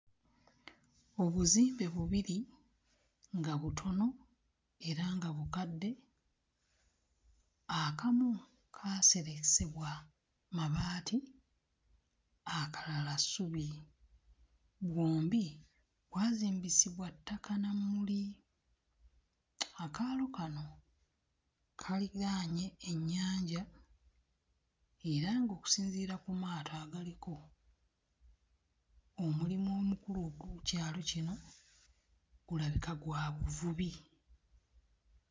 Obuzimbe bubiri nga butono era nga bukadde, akamu kaaseresebwa mabaati akalala ssubi. Bwombi bwazimbisibwa ttaka na mmuli. Akaalo kano kaliraanye ennyanja era ng'okusinziira ku maato agaliko, omulimu omukulu ogw'oku kyalo kino gulabika gwa buvubi.